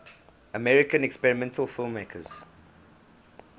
american experimental filmmakers